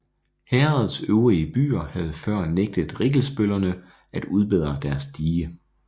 Herredets øvrige byer havde før nægtet rikkelsbøllerne at udbedre deres dige